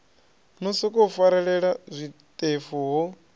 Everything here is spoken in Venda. no sokou farelela zwiṱefu ho